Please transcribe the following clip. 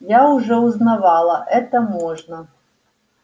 я уже узнавала это можно